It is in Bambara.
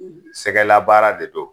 Sɛgɛlabaara de to